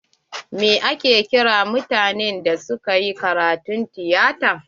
Mai ake kiran mutanen da suka yi karatun tiyata?